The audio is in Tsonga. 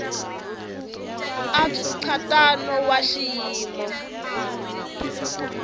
i bya nkhaqato wa xiyimo